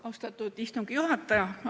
Austatud istungi juhataja!